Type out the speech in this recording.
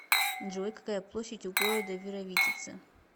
джой какая площадь у города вировитица